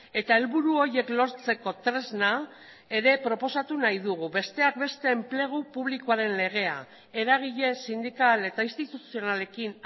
eta helburu horiek lortzeko tresna ere proposatu nahi dugu besteak beste enplegu publikoaren legea eragile sindikal eta instituzionalekin